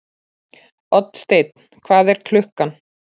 Oddsteinn, hvað er klukkan?